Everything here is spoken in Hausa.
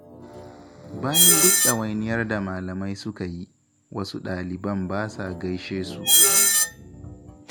Bayan duk ɗawainiyar da malamai suka yi, wasu ɗaliban ba sa gaishe su